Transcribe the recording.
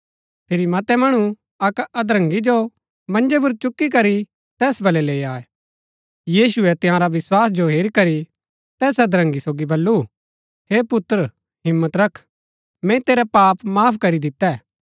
फिरी मतै मणु अक्क अधरंगी जो मन्जै पुर चुक्की करी तैस बल्लै लैई आये यीशुऐ तंयारा विस्वास जो हेरी करी तैस अधरंगी सोगी बल्लू हे पुत्र हिम्मत रख मैंई तेरै पाप माफ करी दितै